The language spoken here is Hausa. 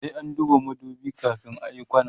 sai an duba madubi kamin ayi kwana